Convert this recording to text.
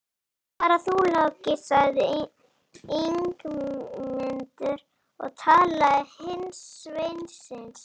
Svara þú, Láki, sagði Ingimundur og talaði til hins sveinsins.